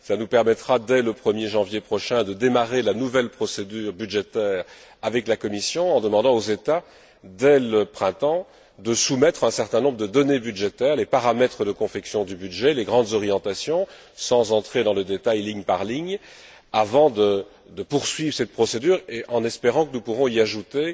Cela nous permettra, dès le 1er janvier prochain, de démarrer la nouvelle procédure budgétaire avec la Commission, en demandant aux États, dès le printemps, de soumettre un certain nombre de données budgétaires, les paramètres de confection du budget, les grandes orientations, sans entrer dans le détail ligne par ligne, avant de poursuivre cette procédure et en espérant que nous pourrons y ajouter